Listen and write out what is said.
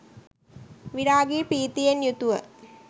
විරාගී ප්‍රීතියෙන් යුතුව